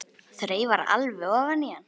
Þreifar alveg ofan í hann.